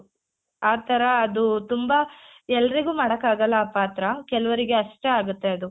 ಆ ತರ ಅದು ತುಂಬಾ ಎಲ್ರಿಗೂ ಮಾಡಕಾಗಲ್ಲ ಆ ಪಾತ್ರ ಕೆಲವರಿಗೆ ಅಷ್ಟೇ ಆಗುತ್ತೆ ಅದು .